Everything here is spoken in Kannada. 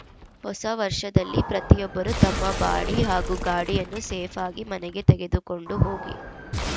ಹೊಸ ವರ್ಷದಲ್ಲಿ ಪ್ರತಿಯೊಬ್ಬರು ತಮ್ಮ ಬಾಡಿ ಹಾಗೂ ಗಾಡಿಯನ್ನು ಸೇಫ್‌ ಆಗಿ ಮನೆಗೆ ತೆಗೆದುಕೊಂಡು ಹೋಗಿ